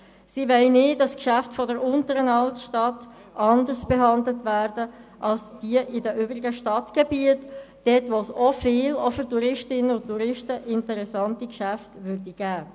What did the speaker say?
Sie wollen nicht, dass die Geschäfte in der Unteren Altstadt anders behandelt werden als jene in den übrigen Stadtgebieten, wo es auch für Touristinnen und Touristen interessante Geschäfte gäbe.